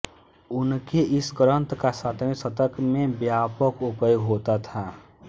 उनके इस ग्रंथ का सातवे शतक में व्यापक उपयोग होता था